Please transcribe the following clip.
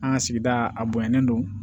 An ka sigida a bonyanen don